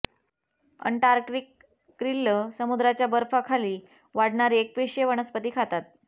Antarctic krill समुद्राच्या बर्फ खाली वाढणारी एकपेशीय वनस्पती खातात